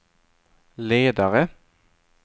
ledare